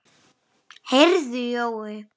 Heyrðu Jói.